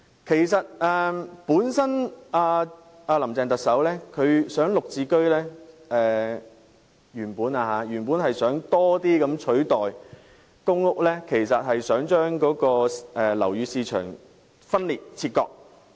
其實特首"林鄭"原本考慮在更大程度上以"綠置居"取代公屋，目的是把樓宇市場分裂和切割。